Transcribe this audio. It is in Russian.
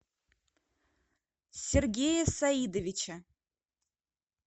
сергея саидовича